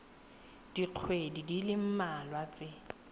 dikgweding di le mmalwa tse